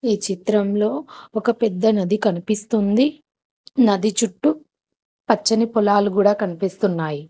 ఈ చిత్రంలో ఒక పెద్ద నది కనిపిస్తుంది నది చుట్టూ పచ్చని పొలాలు కూడా కనిపిస్తున్నాయి.